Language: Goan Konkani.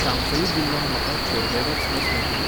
चांफई जिल्ल्यांत म्हाका कोर्बेवॅक्स लस मेळटली?